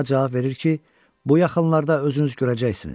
Txaa cavab verir ki, bu yaxınlarda özünüz görəcəksiniz.